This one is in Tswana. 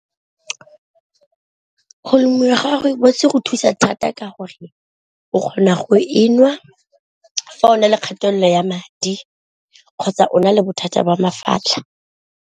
Go lemiwa gwa rooibos go thusa thata ka gore o kgona go e nwa fa o na le kgatelelo ya madi, kgotsa o na le bothata jwa mafatlha.